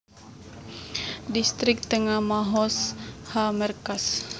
Distrik Tengah Mahoz HaMerkaz